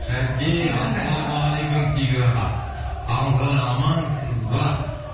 шәке ассалаумағалейкум тигр аға қалыңыз қалай амансыз ба